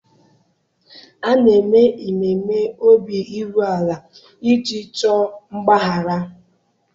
A na-eme ememe obi iru ala iji chọọ mgbaghara.